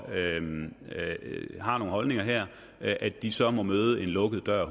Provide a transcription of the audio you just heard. har nogle holdninger her at at de så må møde en lukket dør